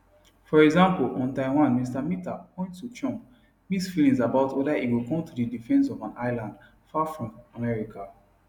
for example on taiwan mr mitter point to trump mixed feelings about weda e go come to di defence of an island far from america